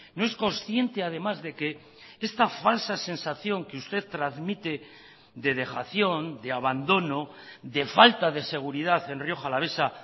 no es consciente además de que esta falsa sensación que usted transmite de dejación de abandono de falta de seguridad en rioja alavesa